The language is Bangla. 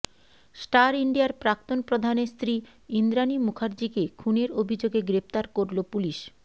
স্টার ইন্ডিয়ার প্রাক্তন প্রধানের স্ত্রী ইন্দ্রাণী মুখার্জীকে খুনের অভিযোগে গ্রেফতার করল পুলিশ